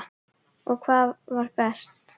Og hvað var best.